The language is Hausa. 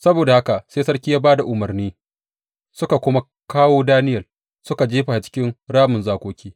Saboda haka sai sarki ya ba da umarni suka kuma kawo Daniyel suka jefa shi cikin ramin zakoki.